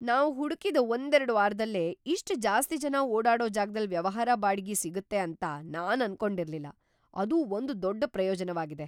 ನಾವ್ ಹುಡುಕಿದ ಒಂದೆರಡು ವಾರದಲ್ಲೇ ಇಷ್ಟ್ ಜಾಸ್ತಿ ಜನ ಓಡಾಡೋ ಜಾಗದಲ್ ವ್ಯವಹಾರ ಬಾಡಿಗೆ ಸಿಗುತ್ತೆ ಅಂತ ನಾನು ಅನ್ಕೊಂಡಿರ್ಲಿಲ್ಲ - ಅದು ಒಂದ್ ದೊಡ್ಡ ಪ್ರಯೋಜನವಾಗಿದೆ.